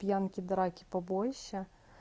пьянки драки побои все